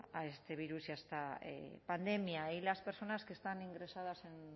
a este virus y a esta pandemia y las personas que están ingresadas en